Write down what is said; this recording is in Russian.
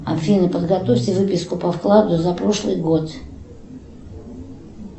афина подготовьте выписку по вкладу за прошлый год